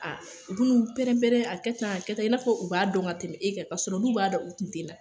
U bɛ n'u pɛrɛn-prɛn a kɛ tan a kɛ tan i n'a fɔ u b'a dɔn ka tɛmɛ e kan, k'a sɔrɔ n'u b'a dɔn, u tun tɛ na!